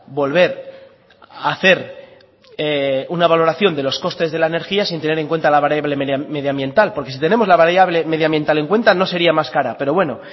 volver a hacer una valoración de los costes de la energía sin tener en cuenta la variable medioambiental porque si tenemos la variable medioambiental en cuenta no sería más cara pero bueno